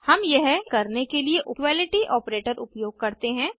हम यह करने के लिए इक्वलिटी ऑपरेटर उपयोग करते हैं